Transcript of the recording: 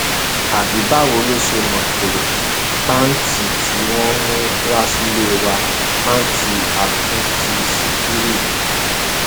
àbí báwo lo ṣe mọ pé pàǹtí tí wọn mú wá sílé wa pàǹtí àtúntì ṣíkírí ni